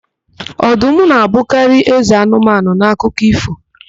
Ọdụm na-abụkarị eze anụmanụ n'akụkọ ífò.